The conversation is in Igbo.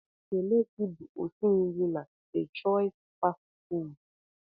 Kelechi bụ osi nri na DE chois fastị fụụdụ.